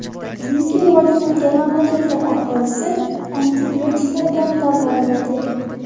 Chunki rivojlangan mamlakatlar aholisi antibiotiklar bilan davolanadi.